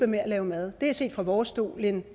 med at lave mad det er set fra vores stol en